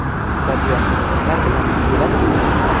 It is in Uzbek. Stadion muxlislar bilan to‘ladimi?